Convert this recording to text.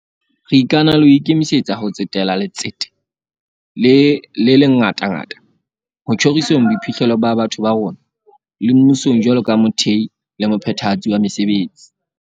Re ikana le ho ikemisetsa ho tsetela letsete le le ngatangata ho tjhoriseng boiphihlelo ba batho ba rona, le mmusong jwalo ka mothehi le mophethahatsi wa mesebetsi.